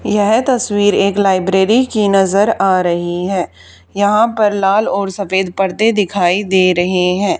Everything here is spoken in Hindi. यह तस्वीर एक लाइब्रेरी की नजर आ रही हैं यहां पर लाल और सफेद पर्दे दिखाई दे रहे हैं।